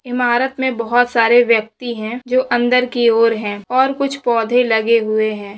इमारत में बहुत सारे व्यक्ति है जो अन्दर की और है कुछ पौधे लगे हुए है।